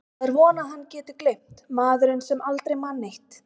Það er von að hann geti gleymt, maðurinn sem aldrei man neitt.